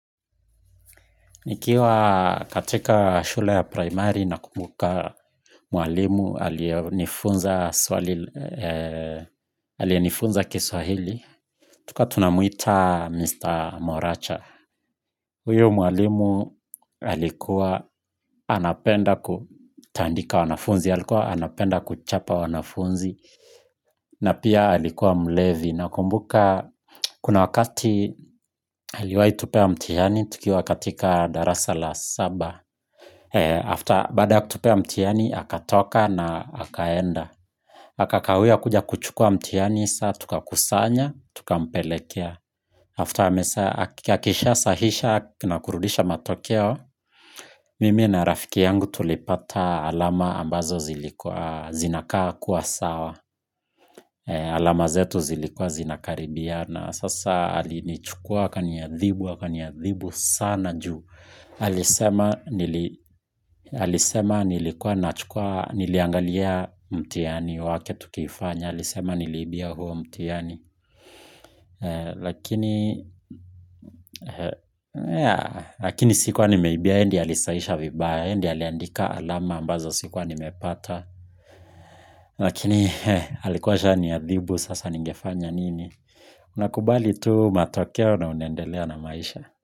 Nikiwa katika shule ya primary nakumbuka mwalimu aliye nifunza aliye nifunza Kiswahili tulikuwa tunamwita Mr. Moracha. Huyu mwalimu alikuwa anapenda kutandika wanafunzi, alikuwa anapenda kuchapa wanafunzi na pia alikuwa mlevi, nakumbuka kuna wakati aliwahitupea mtihani tukiwa katika darasa la saba. After, baada ya kutupea mtihani, akatoka na akaenda akakawia kuja kuchukua mtihani, sasa tukakusanya, tukampelekea after, akisha sahihisha na kurudisha matokeo mimi na rafiki yangu tulipata alama ambazo zinakaa haikuwa sawa alama zetu zilikuwa zinakaribiana sasa alinichukua akaniadhibu, akaniadhibu sana juu alisema nilikuwa niliangalia mtihani wake tukifanya, alisema niliibia huo mtihani lakini sikuwa nimeibia yeye ndiyo alisahihisha vibaya, yeye ndiyo aliandika alama ambazo sikuwa nimepata lakini alikuwa asha niadhibu sasa ningefanya nini. Unakubali tu matokeo na unendelea na maisha.